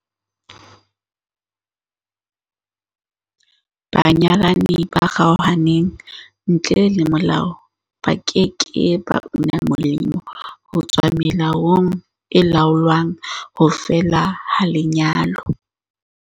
Banyalani ba kgaohaneng ntle le molao ba ke ke ba una molemo ho tswa melaong e laolang ho fela ha lenyalo.